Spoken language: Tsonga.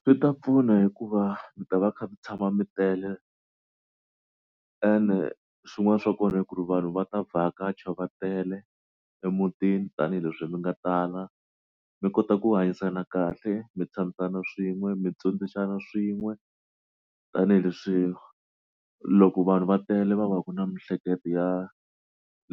Swi ta pfuna hikuva mi ta va kha mi tshama mi tele and swin'wana swa kona i ku ri vanhu va ta vhakacha va tele emutini tanihileswi mi nga tala mi kota ku hanyisana kahle mi tshamasana swin'we mi dyondzisana swin'we tanihileswi loko vanhu va tele va va ku na miehleketo ya